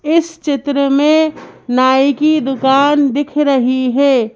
इस चित्र में नाई की दुकान दिख रही है।